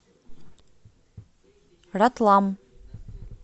ратлам